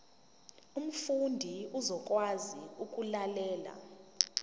umfundi uzokwazi ukulalela